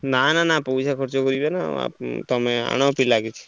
ନାଁ ନାଁ ନାଁ ପଇସା ଖର୍ଚ୍ଚ କରିବେ ନାଁ ଆଉ ତମେ ଆଣ ପିଲା କିଛି।